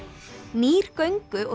nýr göngu og